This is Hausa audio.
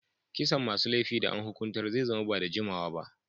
Kisan masun laifi da an hukuntar zai zama ba'da jimawa ba.